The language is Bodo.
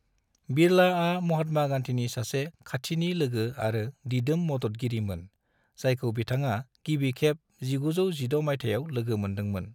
बिरलाआ महात्मा गांधीनि सासे खाथिनि लोगो आरो दिदोम मददगिरि मोन, जायखौ बिथाङा गिबि खेब 1916 मायथाइयाव लोगो मोनदों मोन।